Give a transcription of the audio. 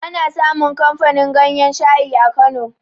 Ana samun kamfanin ganyan shayi a kano